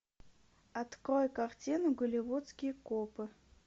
открой картину голливудские копы